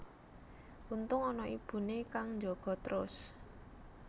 Untung ana ibune kang njaga trus